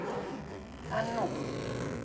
En nú?